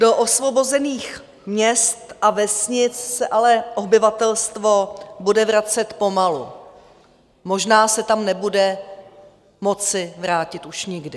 Do osvobozených měst a vesnic se ale obyvatelstvo bude vracet pomalu, možná se tam nebude moci vrátit už nikdy.